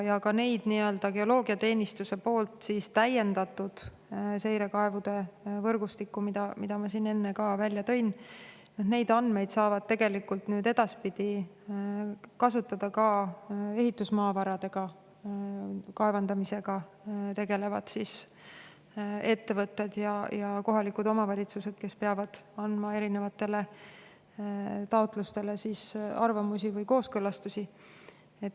Andmeid geoloogiateenistuse täiendatud seirekaevude võrgustiku kohta, mille ma siin enne välja tõin, saavad edaspidi kasutada ka ehitusmaavarade kaevandamisega tegelevad ettevõtted ja kohalikud omavalitsused, kes peavad andma erinevate taotluste kohta arvamusi või neid kooskõlastama.